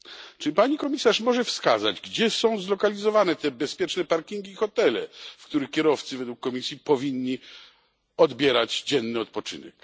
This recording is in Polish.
Czy Pani Komisarz może wskazać, gdzie są zlokalizowane te bezpieczne parkingi i hotele, w których kierowcy według Komisji powinni odbierać dzienny odpoczynek?